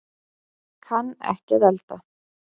Kann ekki að elda